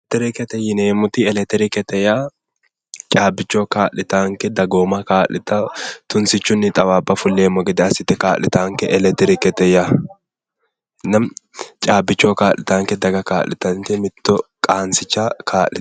Electirikete yiineemmoti electrikete yaa caabbichoho kaa'litaanketa dagooma kaa'litao tunsichunni xawaabba fulleemmo gede assite kaa'litaanke electiirikete yaa caabbichoho kaa'litaanke mitto qansicha kaa'litannote